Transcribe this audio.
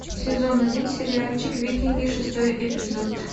сезон один сериальчик викинги шестой эпизод